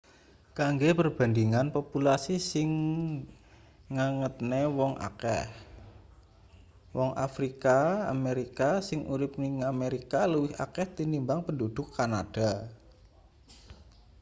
kanggo perbandingan populasi sing ngagetne wong akeh wong afrika amerika sing urip ing amerika luwih akeh tinimbang penduduk kanada